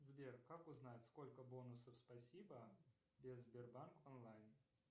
сбер как узнать сколько бонусов спасибо без сбербанк онлайн